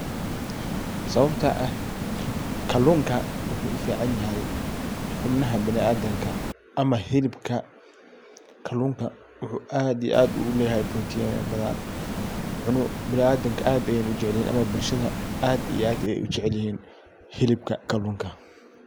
Sababta ah kallunka wuxu u fican yahay hubnaha biniadamka ama hilibka kallunka wuxu aad iyo aad u leyahay protinyo badan. Biniadamka aad iyo aad ayey u jecelyihin ama bulshada hilibka kallunka.